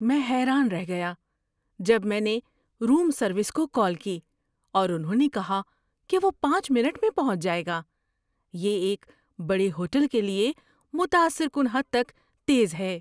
میں حیران رہ گیا جب میں نے روم سروس کو کال کی اور انہوں نے کہا کہ وہ پانچ منٹ میں پہنچ جائے گا۔ یہ ایک بڑے ہوٹل کے لیے متاثر کن حد تک تیز ہے!